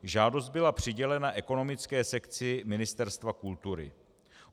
Žádost byla přidělena ekonomické sekci Ministerstva kultury.